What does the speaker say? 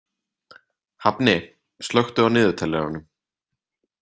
Hafni, slökku á niðurteljaranum.